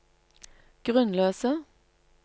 grunnløse